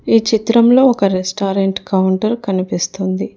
ఈ చిత్రంలో ఒక రెస్టారెంట్ కౌంటర్ కనిపిస్తుంది.